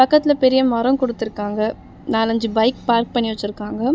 பக்கத்துல பெரிய மரோ குடுத்துருக்காங்க. நாலஞ்சு பைக் பார்க் பண்ணி வெச்சுருக்காங்க.